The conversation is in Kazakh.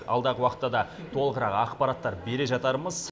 алдағы уақытта да толығырақ ақпараттар бере жатармыз